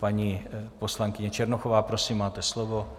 Paní poslankyně Černochová, prosím, máte slovo.